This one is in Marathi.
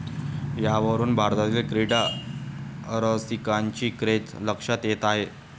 यावरुन भारतातील क्रीडा रसिंकाची क्रेझ लक्षात येते आहे.